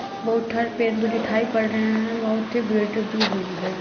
बहुत पड़ रहे हैं। बहुत ही हुई है।